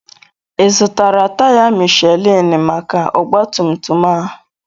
Ị zụtara taya Mishelin maka ọgbatumtum a?